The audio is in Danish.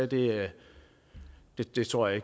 det det tror jeg